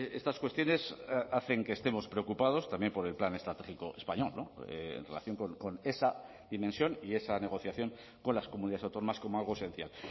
estas cuestiones hacen que estemos preocupados también por el plan estratégico español en relación con esa dimensión y esa negociación con las comunidades autónomas como algo esencial